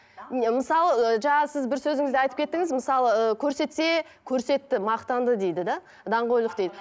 мысалы ы жаңа сіз бір сөзіңізде айтып кеттіңіз мысалы ы көрсетсе көрсетті мақтанды дейді де даңғойлық дейді